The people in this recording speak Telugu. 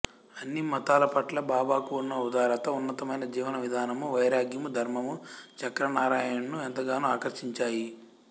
అన్ని మతాలపట్ల బాబాకు ఉన్న ఉదారత ఉన్నతమైన జీవనవిధానము వైరాగ్యము ధర్మము చక్రనారాయణ్ ను ఎంతగానో ఆకర్షించాయి